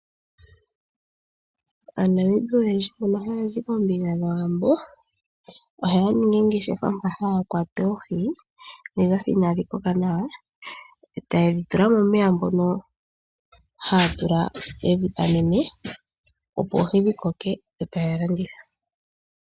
Aanamibia oyendji mboko haya zi koombinga dhawambo ohaya ningi oongeshefa ndhono haya kwata oohi ndhoka inaadhi koka nawa taye dhi tula momeya mono haya tula mo woo oovitamine opo oohi dhikoke yo taya landitha.